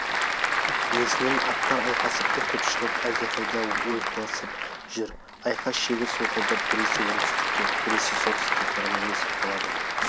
несінен аттар айқас үркіп шығып әлдеқайда ойқыласып жүр айқас шегі солқылдап біресе оңтүстікке біресе солтүстікке қарай ойысып қалады